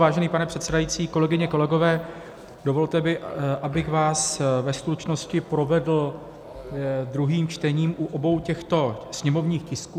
Vážený pane předsedající, kolegyně, kolegové, dovolte mi, abych vás ve stručnosti provedl druhým čtením u obou těchto sněmovních tisků.